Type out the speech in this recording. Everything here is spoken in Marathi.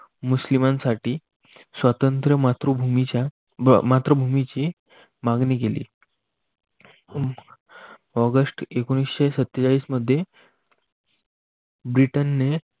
मुस्लिमांसाठी स्वातंत्र्य मातृभूमीची मागणी केली. ऑगस्ट एकोणविससे सत्तेचाळीस मध्ये ब्रिटनने